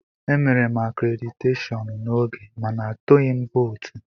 Emere m akréditeshọọn n'oge mana atụghị m vootu.